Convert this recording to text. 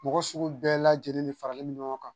Mɔgɔ sugu bɛɛ lajɛlen de faralen bɛ ɲɔgɔn kan